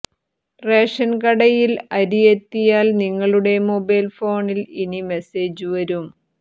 ration കടയിൽ അരി എത്തിയാൽ നിങ്ങളുടെ മൊബൈൽ ഫോണിൽ ഇനി മെസേജ് വരും